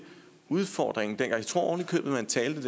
udfordringen jeg tror ovenikøbet man talte